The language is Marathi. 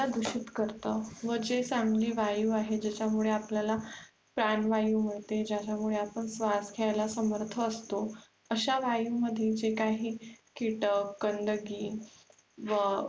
दूषित करते, आणि जे चांगली वायु आहे ज्याच्यामुळे आपल्याला प्राणवायु मिळते, ज्याच्यामुळे आपल्याला श्र्वास घ्येयला समर्थ असतो, अश्या वायुमध्ये जे काही कीटक गंदगी व